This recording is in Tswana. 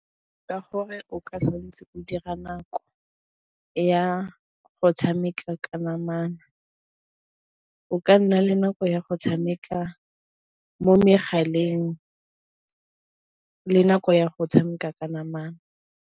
Ka gore o ka santse o dira nako ya go tshameka ka namana, o ka nna le nako ya go tshameka mo megaleng le nako ya go tshameka ka namana.